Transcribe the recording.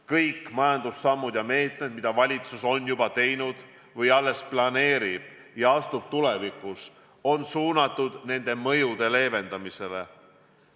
Kõik majandusmeetmed, mida valitsus on juba võtnud või alles planeerib võtta, on suunatud nende mõjude leevendamisele.